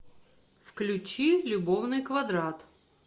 включи любовный квадрат